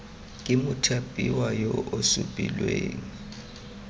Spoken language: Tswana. ke mothapiwa yo o supilweng